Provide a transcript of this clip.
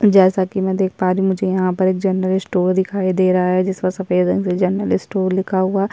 जैसा की मै देख पा रही हूँ मुझे यहाँ पर एक जनरल स्टोर दिखाई दे रहा है जिसका सफ़ेद रंग से जनरल स्टोर लिखा हुआ --